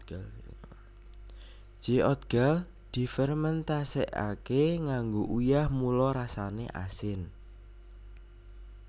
Jeotgal difermentasekake nganggo uyah mula rasane asin